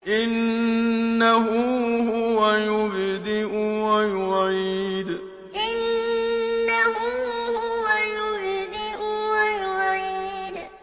إِنَّهُ هُوَ يُبْدِئُ وَيُعِيدُ إِنَّهُ هُوَ يُبْدِئُ وَيُعِيدُ